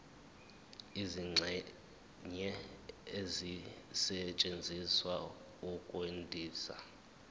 izingxenye ezisetshenziswa ukwandisa